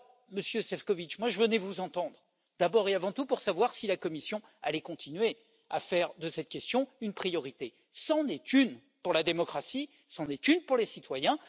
Monsieur Šefčovič, je venais vous entendre d'abord et avant tout pour savoir si la Commission allait continuer à faire de cette question une priorité, car c'en est une pour la démocratie et pour les citoyens.